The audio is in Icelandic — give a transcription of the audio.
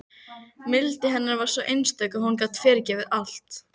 Mildi hennar var einstök og hún gat fyrirgefið allt.